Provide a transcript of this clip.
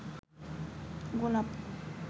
গোলাপ